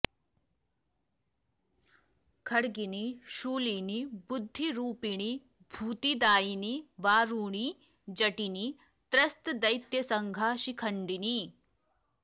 खड्गिनी शूलिनी बुद्धिरूपिणी भूतिदायिनी वारुणी जटिनी त्रस्तदैत्यसङ्घा शिखण्डिनी